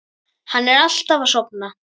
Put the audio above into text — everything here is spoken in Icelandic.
Hann er alltaf að sofna.